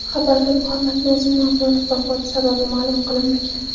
Xabarda Muhammadnozim Mavlonov vafoti sababi ma’lum qilinmagan.